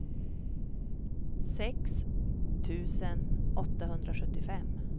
sex tusen åttahundrasjuttiofem